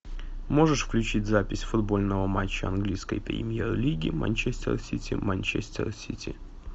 можешь включить запись футбольного матча английской премьер лиги манчестер сити манчестер сити